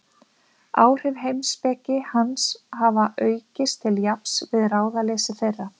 Áhrif heimspeki hans hafa aukist til jafns við ráðaleysi þeirra.